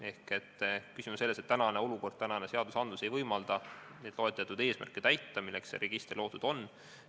Küsimus on selles, et tänane olukord ja seadused ei võimalda täita neid loetletud eesmärke, milleks see register loodud on.